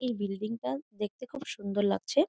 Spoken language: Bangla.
এই বিল্ডিং টা দেখতে খুব সুন্দর লাগছে।